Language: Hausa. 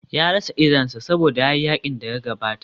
Ya rasa idonsa saboda ya yi yakin da ya gabata.